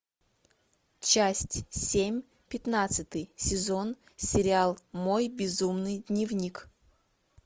часть семь пятнадцатый сезон сериал мой безумный дневник